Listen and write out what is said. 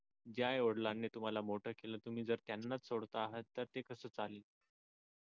ज्या आईवडिलांनी तुम्हाला मोठं केलं तुम्ही जर त्यांनाच सोडता आहात तर ते कस चालेल